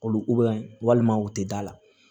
Kolo walima u tɛ da la